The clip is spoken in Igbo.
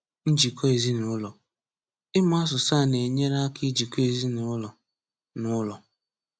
Njikọ Ezinụlọ: Ịmụ asụsụ a na-enyere aka ijikọ ezinụlọ n'ụlọ